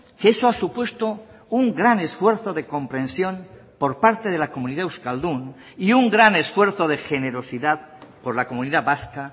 que eso ha supuesto un gran esfuerzo de comprensión por parte de la comunidad euskaldun y un gran esfuerzo de generosidad por la comunidad vasca